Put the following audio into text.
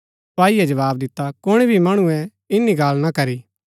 सपाईये जवाव दिता कुणी भी मणुऐ ईनी गल्ला ना करी